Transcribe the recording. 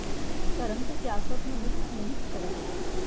ਧਰਮ ਤੇ ਸਿਆਸਤ ਨੂੰ ਮਿਕਸ ਨਹੀਂ ਕੀਤਾ ਜਾ ਸਕਦਾ